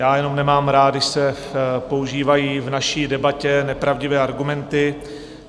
Já jenom nemám rád, když se používají v naší debatě nepravdivé argumenty.